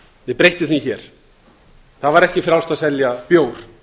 við breyttum því hér það var ekki frjálst að selja bjór